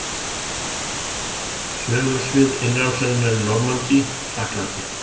Sögusvið innrásarinnar í Normandí í Frakklandi.